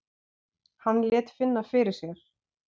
Hann lét finna fyrir sér.